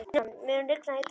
Gunnjóna, mun rigna í dag?